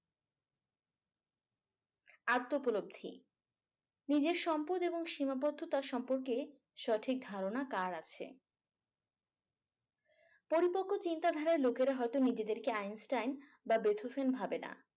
আত্ম উপলব্ধি নিজের সম্পদ এবং সীমাবদ্ধতা সম্পর্কে সঠিক ধারণা কার আছে। পরিপক্ক চিন্তাধারার লোকেরা হয়তো নিজেদেরকে আইনস্টাইন বা ভাবে না।